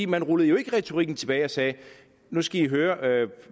man rullede jo ikke retorikken tilbage og sagde nu skal i høre